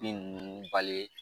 Bin ninnu bali